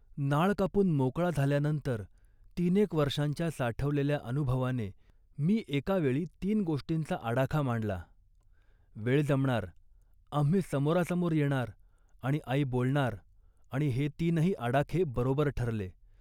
नाळ कापून मोकळा झाल्यानंतर तीनेक वर्षांच्या साठवलेल्या अनुभवाने मी एका वेळी तीन गोष्टींचा आडाखा मांडला. वेळ जमणार, आम्ही समोरासमोर येणार, आणि आई बोलणार आणि हे तीनही आडाखे बरोबर ठरले